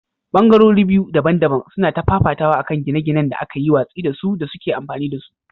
Ɓangarori biyu daban-daban suna ta fafatawa a kan gine-ginen da aka yi watsi da su da suke amfani da su.